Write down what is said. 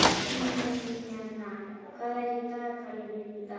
Júníana, hvað er í dagatalinu mínu í dag?